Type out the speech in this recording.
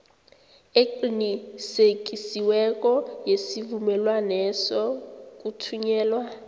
eqinisekisiweko yesivumelwaneso kuthunyelwa